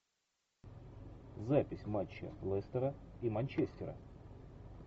запись матча лестера и манчестера